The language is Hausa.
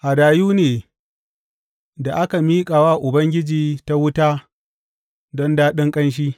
Hadayu ne da aka miƙa wa Ubangiji ta wuta don daɗin ƙanshi.